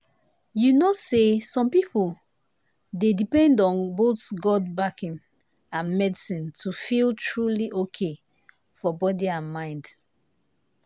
you know say some people dey depend on both god backing and medicine to feel truly okay for body and mind.